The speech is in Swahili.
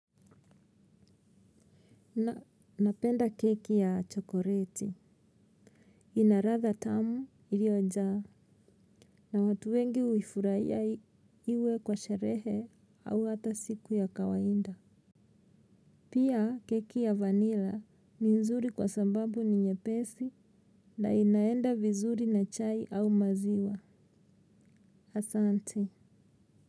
Na napenda keki ya chokoreti inaratha tamu iliojaa na watu wengi uifuraia iwe kwa sherehe au hata siku ya kawainda pia keki ya vanilla ni nzuri kwa sambabu ni nyepesi na inaenda vizuri na chai au maziwa asante.